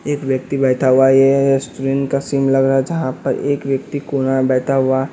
एक व्यक्ति बैठा हुआ है ये स्टूडेंट का सिम लग रहा है जहाँ पर एक व्यक्ति कोना बैठा हुआ--